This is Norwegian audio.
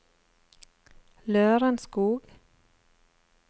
Lørenskog